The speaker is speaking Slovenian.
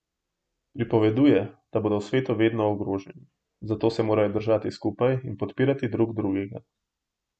Pripoveduje, da bodo v svetu vedno ogroženi, zato se morajo držati skupaj in podpirati drug drugega.